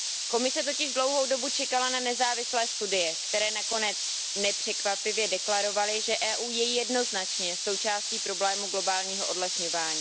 Komise totiž dlouhou dobu čekala na nezávislé studie, které nakonec nepřekvapivě deklarovaly, že EU je jednoznačně součástí problému globálního odlesňování.